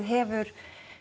hefur